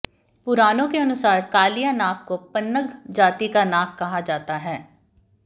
पुराणों के अनुसार कालिया नाग को पन्नग जाति का नाग कहा जाता है